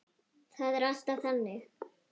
Það er alltaf þannig.